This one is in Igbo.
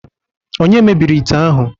Onye mebiri ite ahu